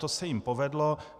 To se jim povedlo.